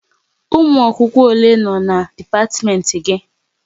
Ụmụ akwụkwọ ole nọ n'dipatimenti gị?